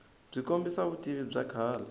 byi kombisa vutivi bya kahle